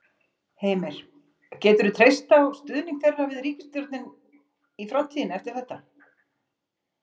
Heimir: Geturðu treyst á stuðning þeirra við ríkisstjórnin í framtíðinni eftir þetta?